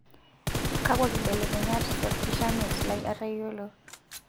Kakua kibelekenyat tolkishamiet lai atayiolo?